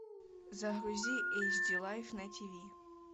загрузи эйч ди лайф на тиви